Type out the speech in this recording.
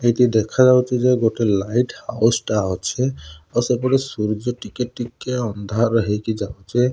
ଏଠି ଦେଖା ଯାଉଛି ଯେ ଗୋଟେ ଲାଇଟ୍ ହାଉସ ଟା ଅଛି ସେପଟେ ସୂର୍ଯ୍ୟ ଟିକେ ଟିକେ ଅନ୍ଧାର ହେଇକି ଯାଉଛେ।